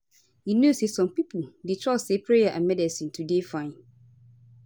you know say some pipo dey trust say prayer and medicine to dey fine